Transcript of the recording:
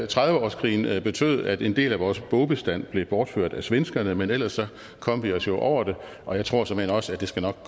trediveårskrigen betød at en del af vores bogbestand blev bortført af svenskerne men ellers kom vi os jo over det og jeg tror såmænd også at det nok